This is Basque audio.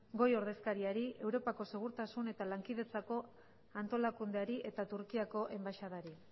goi ordezkariari europako segurtasun eta lankidetzako antolakundeari eta turkiako enbaxadari